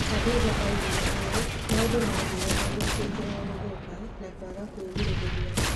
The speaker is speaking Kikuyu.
Khadiza oigire ũũ: "Maũndũ maathire mathũkĩte o gũthũka na kwaga kwĩgirĩrĩria ".